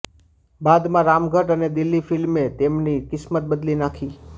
બાદમાં રામગઢ અને દિલ ફિલ્મે તેમની કિસ્મત બદલી નાંખી